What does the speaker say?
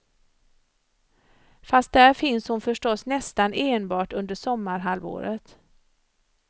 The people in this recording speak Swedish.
Fast där finns hon förstås nästan enbart under sommarhalvåret.